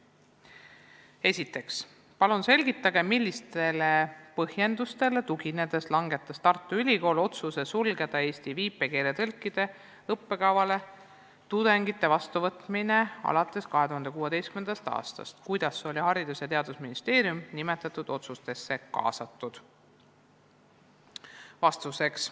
Esiteks: "Palun selgitage, millistele põhjendustele tuginedes langetas Tartu Ülikool otsuse sulgeda Eesti viipekeeletõlkide õppekavale tudengite vastuvõtmise alates 2016. a. Kuidas oli Haridus- ja Teadusministeerium nimetatud otsustusse kaasatud?